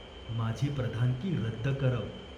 माझी प्रधानकी रद्द करव.